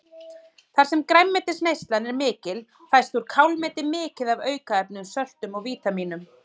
Þar sem grænmetisneyslan er mikil fæst úr kálmeti mikið af aukaefnum, söltum og vítamínum.